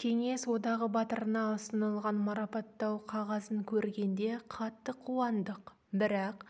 кеңес одағы батырына ұсынылған марапаттау қағазын көргенде қатты қуандық бірақ